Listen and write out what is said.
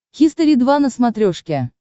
хистори два на смотрешке